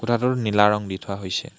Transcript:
কোঠাটোৰ নীলা ৰং দি থোৱা হৈছে।